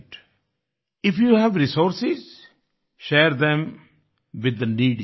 if you have resource share them with the needy